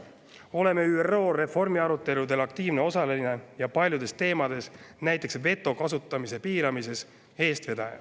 Oleme ÜRO reformiaruteludel aktiivne osaline ja paljudes teemades – näiteks veto kasutamise piiramises – eestvedaja.